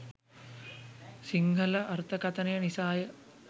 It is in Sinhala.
සින්හල අර්තකතන නිසාය.